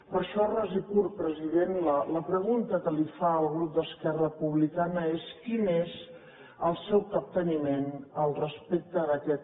per això ras i curt president la pregunta que li fa el grup d’esquerra republicana és quin és el seu capteniment respecte d’aquest quan